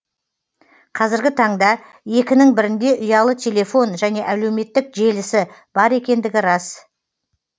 қазіргі таңда екінің бірінде ұялы телефон және әлеуметтік желісі бар екендігі рас